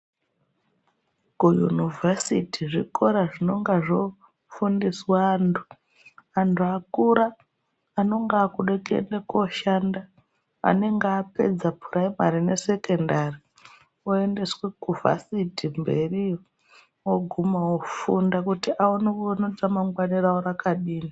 Kuyunivhesiti zvikora zvinonga zvofundiswa antu. Antu akura anonga aakude kuende kooshanda, anenge apedza puraimari nesekondari oendeswe kuvhasiti mberiyo. Ooguma ofunda kuti aone kuti ramangwana ravo rakadini.